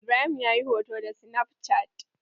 Ibrahim ya yi hoto da sinaf cat.